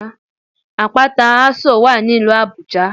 Àpáta Ásò wà ní ìlú Àbújá